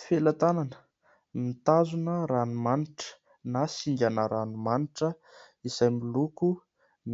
Felan-tanana mitazona ranomanitra na singana ranomanitra izay miloko